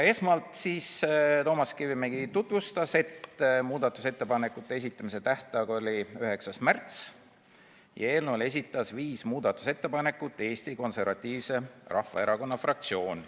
Esmalt Toomas Kivimägi märkis, et muudatusettepanekute esitamise tähtaeg oli 9. märts ja eelnõule esitas viis muudatusettepanekut Eesti Konservatiivse Rahvaerakonna fraktsioon.